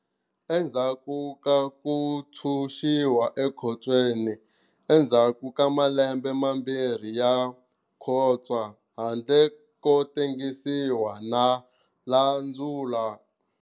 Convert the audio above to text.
Endzhaku ka ku ntshunxiwa ekhotswene endzhaku ka malembe mambirhi ya khotswa handle ko tengisiwa, na landzula.